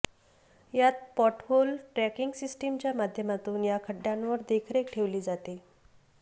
यात pothole tracking सिस्टिमच्या माध्यमातून या खड्डय़ांवर देखरेख ठेवली जाते